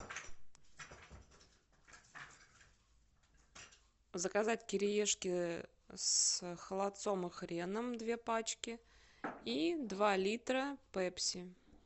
заказать кириешки с холодцом и хреном две пачки и два литра пепси